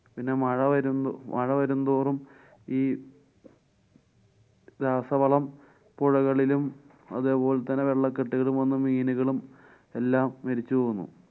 പിന്നെ മഴ വരുന്നു~ വരുംതോറും ഈ രാസവളം പുഴകളിലും അതേപോലെ തന്നെ വെള്ളകെട്ടുകളും വരുന്ന മീനുകളും എല്ലാം മരിച്ചു പോകുന്നു.